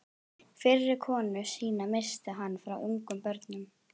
Fyrri konu sína missti hann frá ungum börnum.